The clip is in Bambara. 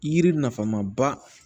Yiri nafama ba